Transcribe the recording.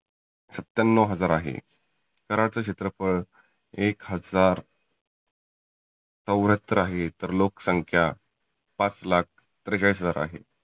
सत्त्यानव हजार आहे. कराडचं क्षेत्रफळ एक हजार चौऱ्यात्तर आहे. तर लोक संख्या पाच लाख त्रेचाळी हजार आहे.